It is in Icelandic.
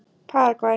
Paragvæ